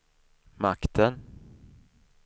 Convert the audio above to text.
makten